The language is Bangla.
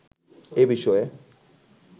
এ বিষয়ে